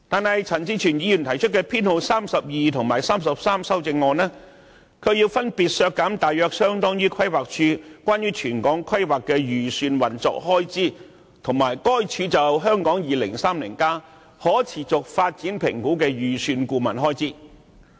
可是，朱凱廸議員提出的修正案編號32及 33， 卻分別削減大約相當於規劃署有關全港規劃的預算運作開支，以及規劃署就《香港 2030+》可持續發展評估的預算顧問開支。